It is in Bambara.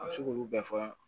A bɛ se k'olu bɛɛ fɔ